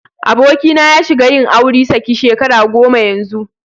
Abokina ya shiga yin auri saki shekara goma yanzu.